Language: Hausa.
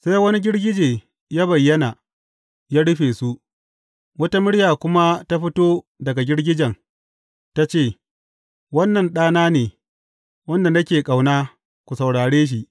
Sai wani girgije ya bayyana, ya rufe su, wata murya kuma ta fito daga girgijen, ta ce, Wannan Ɗana ne, wanda nake ƙauna, ku saurare shi!